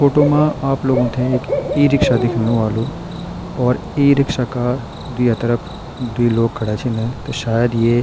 फोटो मा आप लोगों ते एक ई-रिक्शा दिखेणु ह्वोलु और ई-रिक्शा का दुया तरफ द्वि लोग खड़ा छिन त शायद ये --